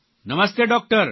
Namaste doctor